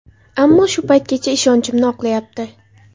Ammo shu paytgacha ishonchimni oqlayapti”.